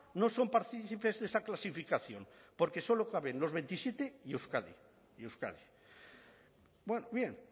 no son partícipes de esa clasificación porque solo caben los veintisiete y euskadi y euskadi bien